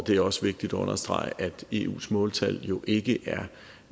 det er også vigtigt at understrege at eus måltal jo ikke